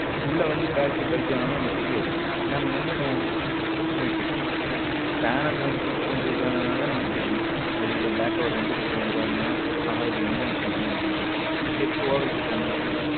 உள்ள வந்து battery bulge ஆனாலும் நமக்கு தெரிவதில்லை நாம என்ன பண்ணுவோம் use பண்ணிட்டு இருப்போம் pannel வந்து கொஞ்சம் இதான தான் நமக்கு தெரியும் வெளியில back cover வந்து கொஞ்சம் இத இருந்த தான் ஆஹா இது என்னமோ something இந்த set over heat ஆனா தெரியும்.